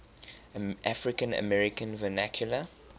african american vernacular